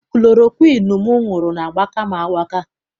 Kulorokwiinu m ṅụrụ na-agbaka m agbaka.